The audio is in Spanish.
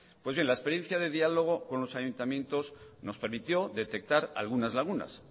pues bien la experiencia de diálogo con los ayuntamientos nos permitió detectar algunas lagunas